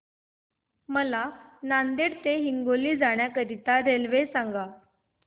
मला नांदेड ते हिंगोली जाण्या साठी रेल्वे सांगा